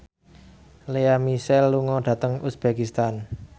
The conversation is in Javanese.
Lea Michele lunga dhateng uzbekistan